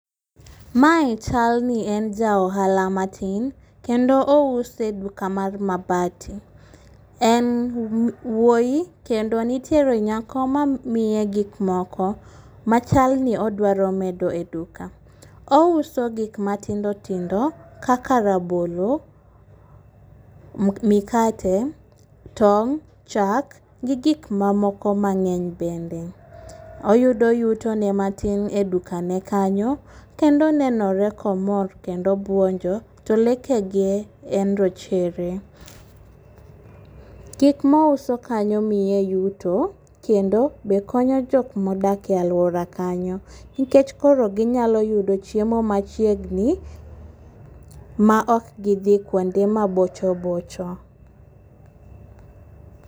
Mae chal ni en ja ohala matin, kendo ouso e duka mar mabati. En wuoyi kendo nitiere nyako mamiye gik moko machalo ni odwaro medo e duka. Ouso gik matindo tindo kaka rabolo, mikate, tong,' chak gi gik mamoko mang'eny bende. Oyudo yuto ne matin e dukane kanyo kendo onenore komor kendo obuonjo. To lekege en rochere. Gik ma ouso kanyo miye yuto kendo be konyo jok ma odak e aluora kanyo nikech koro giyudo chiemo machiegni maok gidhi kuonde ma bocho bocho.